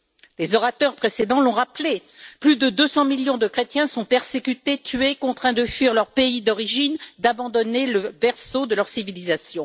Les orateurs précédents l'ont rappelé plus de 200 millions de chrétiens sont persécutés, tués, contraints de fuir leur pays d'origine, d'abandonner le berceau de leur civilisation.